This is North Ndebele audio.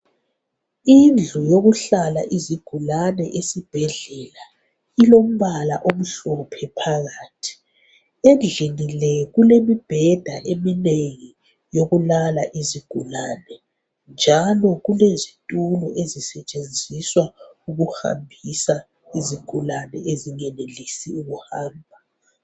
Indlu yokuhlala izigulane esibhedlela ilombala omhlophe phakathi endlini le kulemibhedaeminengi yokulala izigulane njalo kulezitulo ezisetshenziswaukuhambisa izigulani ezingenelisi ukuhamba